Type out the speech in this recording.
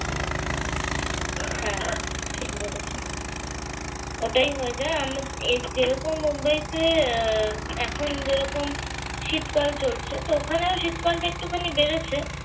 হ্যাঁ ঠিক বলেছেন। ওটাই হয়ে যায়। আমরা এই যেরকম মুম্বাইতে আহ এখন যেরকম শীতকাল চলছে তো ওখানেও শীতকালটাও একটুখানি বেড়েছে।